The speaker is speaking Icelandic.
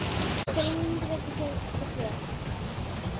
Sjá línurit hér til hliðar.